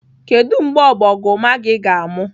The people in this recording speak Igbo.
Kedu mgbe ọbọgụma gị ga-amụ?